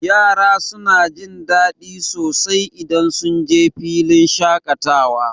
Yara suna jin daɗi sosai idan sunje filin shaƙatawa.